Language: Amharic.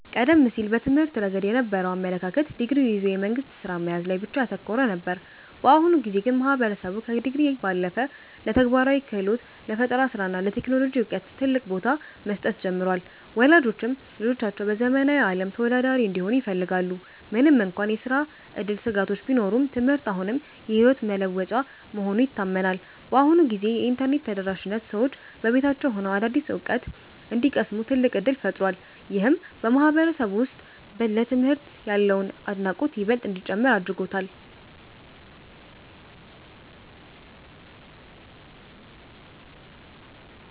ቀደም ሲል በትምህርት ረገድ የነበረው አመለካከት ዲግሪ ይዞ የመንግሥት ሥራ መያዝ ላይ ብቻ ያተኮረ ነበር። በአሁኑ ጊዜ ግን ማህበረሰቡ ከዲግሪ ባለፈ ለተግባራዊ ክህሎት፣ ለፈጠራ ሥራ እና ለቴክኖሎጂ ዕውቀት ትልቅ ቦታ መስጠት ጀምሯል። ወላጆችም ልጆቻቸው በዘመናዊው ዓለም ተወዳዳሪ እንዲሆኑ ይፈልጋሉ። ምንም እንኳን የሥራ ዕድል ስጋቶች ቢኖሩም፣ ትምህርት አሁንም የሕይወት መለወጫ መሆኑ ይታመናል። በአሁኑ ጊዜ የኢንተርኔት ተደራሽነት ሰዎች በቤታቸው ሆነው አዳዲስ ዕውቀት እንዲቀስሙ ትልቅ ዕድል ፈጥሯል። ይህም በማህበረሰቡ ውስጥ ለትምህርት ያለውን አድናቆት ይበልጥ እንዲጨምር አድርጎታል።